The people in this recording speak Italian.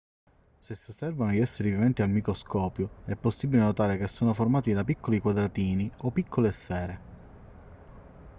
se si osservano gli esseri viventi al microscopio è possibile notare che sono formati da piccoli quadratini o piccole sfere